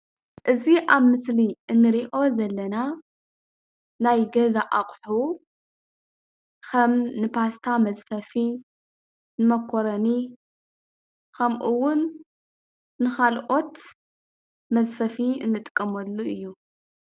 እዚ ኣብ ምስሊ እንሪኦ ዘለና ናይ ገዛ ኣቑሑ ከም ን ፓስታ መዝፈፊ፣ ንመኮረኒ ከምኡ ውን ንኻልኦት መዝፈፊ እንጥቀመሉ እዩ፡፡